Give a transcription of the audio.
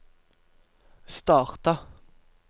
starta